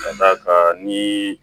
Ka d'a kan ni